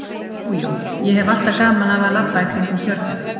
Jú, jú, ég hef alltaf gaman af að labba í kringum Tjörnina